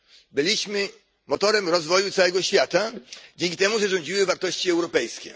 Byliśmy motorem rozwoju całego świata dzięki temu, że rządziły wartości europejskie.